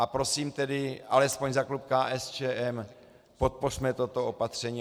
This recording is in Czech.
A prosím tedy alespoň za klub KSČM, podpořme toto opatření.